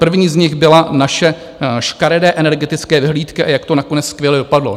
První z nich byla - naše škaredé energetické vyhlídky a jak to nakonec skvěle dopadlo.